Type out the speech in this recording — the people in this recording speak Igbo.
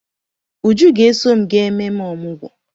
Uju ga-eso m gaa ememe ọmụgwọ.